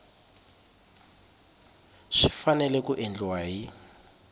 swi fanele ku endliwa hi